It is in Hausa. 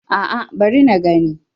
A'a bari na gani